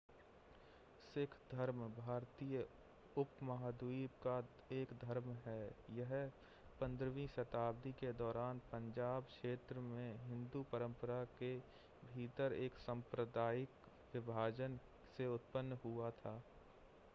सिख धर्म भारतीय उपमहाद्वीप का एक धर्म है यह 15वीं शताब्दी के दौरान पंजाब क्षेत्र में हिंदू परंपरा के भीतर एक सांप्रदायिक विभाजन से उत्पन्न हुआ था